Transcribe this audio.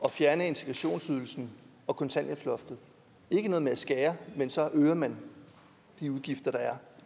at fjerne integrationsydelsen og kontanthjælpsloftet ikke noget med at skære men så øger man de udgifter der er